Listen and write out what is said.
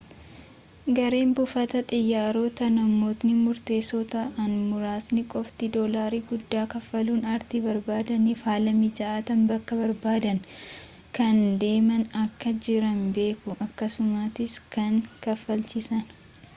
gareen buufata xiyyaarotaa namootni murteessoo ta'an muraasni qofti dolaarii guddaa kaffaluun ariitii barbaadaniifi haala mijaatan bakka barbaadan kan deeman akka jiran beeku akkasumattis kan kaafalchiisan